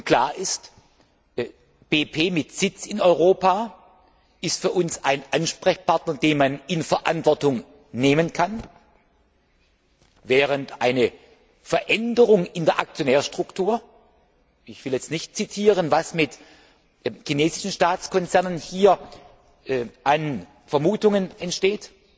Klar ist, BP mit Sitz in Europa ist für uns ein Ansprechpartner, den man in die Verantwortung nehmen kann, während eine Veränderung in der Aktionärsstruktur ich will jetzt nicht zitieren, was mit chinesischen Staatskonzernen hier an Vermutungen entsteht